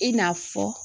I n'a fɔ